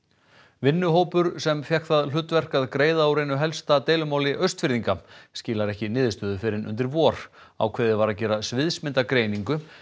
vinnuhópur sem fékk það hlutverk að greiða úr einu helsta deilumáli Austfirðinga skilar ekki niðurstöðu fyrr en undir vor ákveðið var að gera sviðsmyndagreiningu